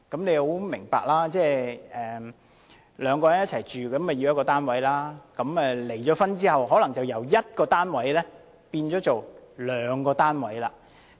兩人本來同住一個單位，但離婚後，可能便由需要一個單位變為兩個單位。